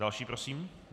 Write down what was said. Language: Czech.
Další prosím.